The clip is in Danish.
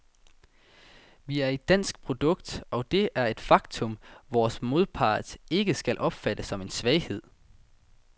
Vi er et dansk produkt, og det er et faktum, vores modpart ikke skal opfatte som en svaghed.